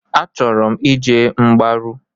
Achọrọ m ije mgbaru.